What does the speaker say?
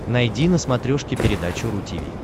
найди на смотрешке передачу ру ти ви